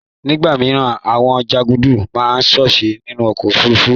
Nigba mi, Awon janduku maa sose ninu ọ̀kọ̀ ofúrúfú